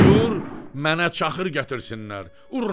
"Buyur, mənə çaxır gətirsinlər!"